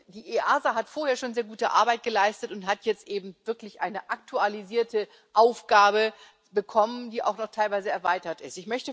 Die EASA hat vorher schon sehr gute Arbeit geleistet und hat jetzt eben wirklich eine aktualisierte Aufgabe bekommen, die auch noch teilweise erweitert ist.